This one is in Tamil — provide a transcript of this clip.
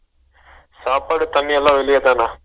சாப்பாடு தண்ணி எல்லா வேளிலதான்னா